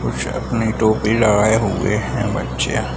कुछ अपने टोपी लगाए हुए हैं बच्चे |